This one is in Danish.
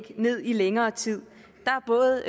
ned i længere tid der er både